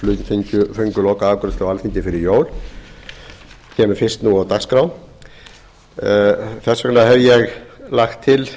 fengu lokaafgreiðslu á alþingi fyrir jól kemur fyrst nú á dagskrá þess vegna hef ég lagt til